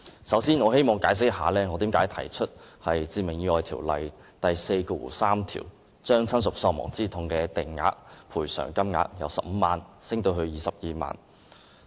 首先，我希望解釋一下，為何我提出修訂《致命意外條例》第43條，將親屬喪亡之痛的法定賠償款額由15萬元增加至22萬元。